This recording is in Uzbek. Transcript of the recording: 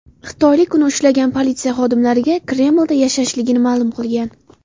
Xitoylik uni ushlagan politsiya xodimlariga Kremlda yashashligini ma’lum qilgan.